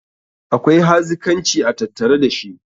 akwai hazikanci a tattare da shi